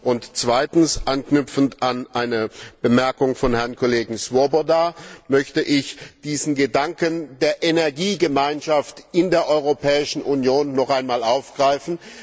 Und zweitens, anknüpfend an eine Bemerkung von Herrn Kollegen Swoboda, möchte ich diesen Gedanken der Energiegemeinschaft in der Europäischen Union noch einmal aufgreifen.